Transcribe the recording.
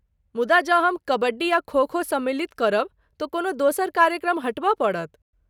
मुदा जँ हम कबड्डी आ खो खो सम्मिलित करब तँ कोनो दोसर कार्यक्रम हटबय पड़त।